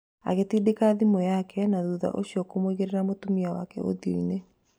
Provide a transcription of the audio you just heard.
Agĩtindĩka thimũ yake na thutha ũcio kũmũigĩra mũtumia wake ũthio-inĩ